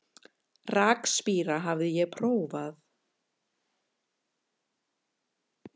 Rakspíra hafði ég prófað.